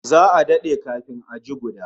Za'a dade kafin a ji guda